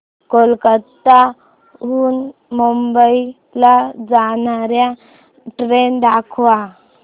कोलकाता हून मुंबई ला जाणार्या ट्रेन दाखवा